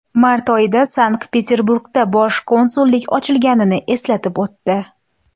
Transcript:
Mart oyida Sankt-Peterburgda bosh konsullik ochilganini eslatib o‘tdi.